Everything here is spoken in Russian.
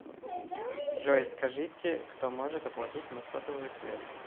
джой скажите кто может оплатить мне сотовую связь